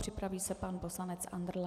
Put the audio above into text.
Připraví se pan poslanec Andrle.